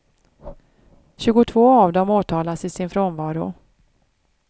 Tjugotvå av dem åtalas i sin frånvaro.